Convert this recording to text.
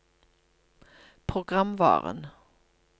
programvaren